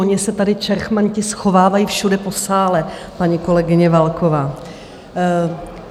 Oni se tady čerchmanti schovávají všude po sále, paní kolegyně Válková!